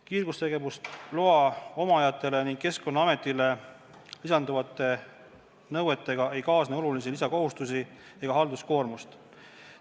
Kiirgustegevusloa omajatele ning Keskkonnaametile lisanduvate nõuetega ei kaasne olulisi lisakohustusi ega halduskoormust.